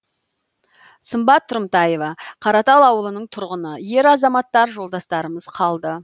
сымбат тұрымтаева қаратал ауылының тұрғыны ер азаматтар жолдастарымыз қалды